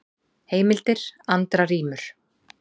Heimildir: Andra rímur.